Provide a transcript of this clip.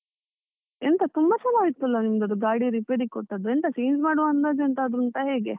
ಎಂತ ತುಂಬ ಸಲ ಅಯ್ತಲ್ಲ ನಿಂದದು ಗಾಡಿ ರಿಪೇರಿಗೆ ಕೊಟ್ಟದ್ದು, ಎಂತ change ಮಾಡುವ ಅಂದಾಜು ಎಂತಾದ್ರೂ ಉಂಟಾ ಹೇಗೆ.